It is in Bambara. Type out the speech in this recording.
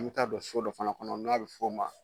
An min taa don so dɔ fana kɔnɔ n'a bi f'o ma